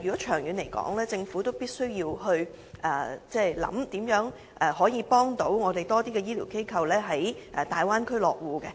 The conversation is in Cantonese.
長遠而言，政府必須考慮如何協助更多醫療機構在大灣區落戶。